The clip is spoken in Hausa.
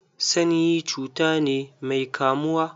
Sanyi cuta ne mai kamuwa.